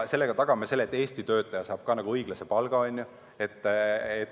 Sellega tagame, et Eesti töötaja saab samuti õiglast palka.